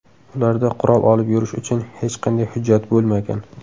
Ularda qurol olib yurish uchun hech qanday hujjat bo‘lmagan.